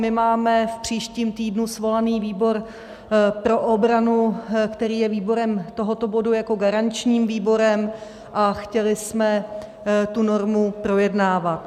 My máme v příštím týdnu svolaný výbor pro obranu, který je výborem tohoto bodu jako garanční výbor, a chtěli jsme tu normu projednávat.